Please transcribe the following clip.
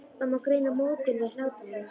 Það má greina móðgun í hlátri hennar.